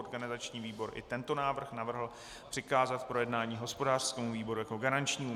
Organizační výbor i tento návrh navrhl přikázat k projednání hospodářskému výboru jako garančnímu.